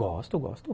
Gosto, gosto.